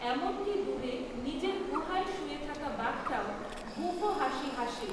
এমনকি দূরে নিজের গুহায় শুয়ে থাকা বাঘটাও গুঁফো হাসি হাসে।